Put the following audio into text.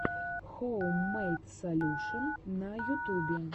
хоум мэйд солюшен на ютубе